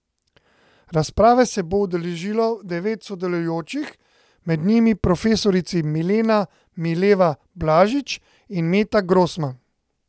Razprave se bo udeležilo devet sodelujočih, med njimi profesorici Milena Mileva Blažič in Meta Grosman.